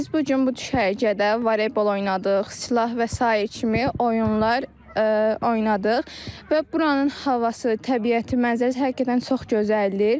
Biz bu gün bu düşərgədə voleybol oynadıq, silah və sair kimi oyunlar oynadıq və buranın havası, təbiəti, mənzərəsi həqiqətən çox gözəldir.